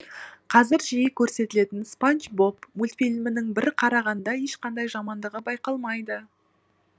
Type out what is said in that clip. қазір жиі көрсетілетін спанч боб мультфильмінің бір қарағанда ешқандай жамандығы байқалмайды